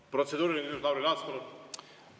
Protseduuriline küsimus, Lauri Laats, palun!